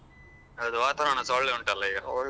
ಹೌದು ವಾತಾವರಣಸ ಒಳ್ಳೆ ಉಂಟಲ್ಲ ಈಗ.